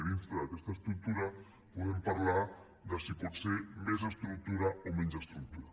i dintre d’aquesta estructura podrem parlar de si pot ser més estructura o menys estructura